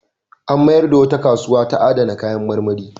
An mayar da wata kasuwa ta adana kayan marmari.